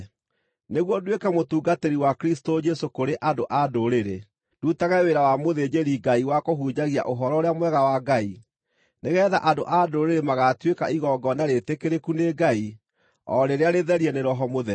nĩguo nduĩke mũtungatĩri wa Kristũ Jesũ kũrĩ andũ-a-Ndũrĩrĩ, ndutage wĩra wa mũthĩnjĩri-Ngai wa kũhunjagia Ũhoro-ũrĩa-Mwega wa Ngai, nĩgeetha andũ-a-Ndũrĩrĩ magaatuĩka igongona rĩĩtĩkĩrĩku nĩ Ngai, o rĩrĩa rĩtherie nĩ Roho Mũtheru.